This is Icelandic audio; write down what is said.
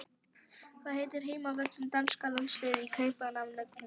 Hvað heitir heimavöllur danska landsliðsins í Kaupmannahöfn?